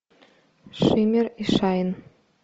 шиммер и шайн